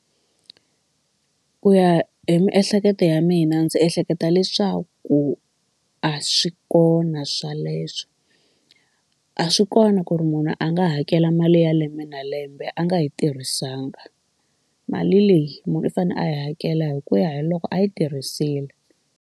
Ku ya hi miehleketo ya mina ndzi ehleketa leswaku a swi kona sweleswo a swi kona ku ri munhu a nga hakela mali ya lembe na lembe a nga yi tirhisanga mali leyi munhu u fanele a yi hakela hi ku ya hi loko a yi tirhisile.